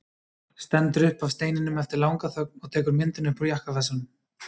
Stendur upp af steininum eftir langa þögn og tekur myndina upp úr jakkavasanum.